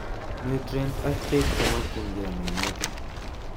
Nutrient ak beek chemokyinke miinutik